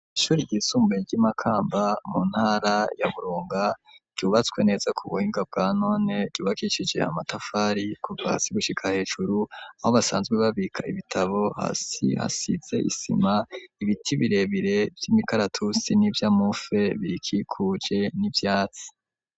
Ishure ryisumbuye ry'Imakamba, mu ntara ya Burunga, ryubatswe neza ku buhinga bwa none, ryubakishije amatafari kuva hasi gushika hejuru, aho basanzwe babika ibitabo hasi hasize isima, ibiti birebire vy'imikaratusi, n'ivyamufe birikikuje n'ivyatsi.